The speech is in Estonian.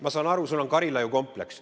Ma saan aru, et sul on Karilaiu kompleks.